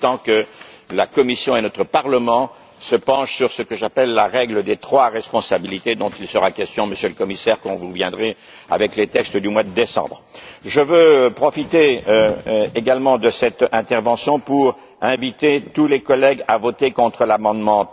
Il est temps que la Commission et notre Parlement se penchent sur ce que j'appelle la règle des trois responsabilités, dont il sera question, Monsieur le Commissaire, lorsque vous reviendrez au mois de décembre. Je veux également profiter de cette intervention pour inviter tous les collègues à voter contre l'amendement